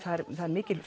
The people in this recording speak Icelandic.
það er mikil